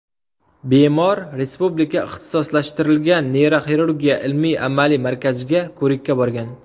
Bemor Respublika ixtisoslashtirilgan neyroxirurgiya ilmiy-amaliy markaziga ko‘rikka borgan.